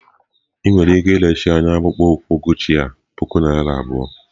Ị nwere ike iresị anyị akpụkpọ ụkwụ Guchi a puku naira abụọ?